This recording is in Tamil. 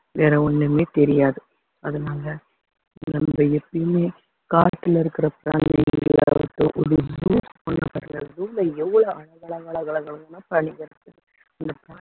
வேற ஒண்ணுமே தெரியாது அதனால நம்ம எப்பயுமே காட்டுல இருக்குற பிராணிங்களா ஆகட்டும் zoo ல எவ்ளோ அழகா அழகா அழகா அழகா அழகான பிராணிங்க இருக்கு